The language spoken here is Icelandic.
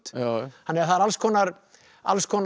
þannig að það eru alls konar alls konar